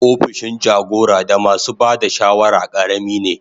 Opishin jagora da masu ba da shawara karami ne.